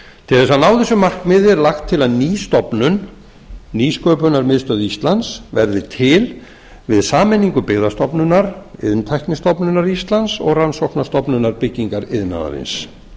til þess að ná þessu markmiði er lagt til að ný stofnun nýsköpunarmiðstöð íslands verði til við sameiningu byggðastofnunar iðntæknistofnunar íslands og rannsóknastofnunar byggingariðnaðarins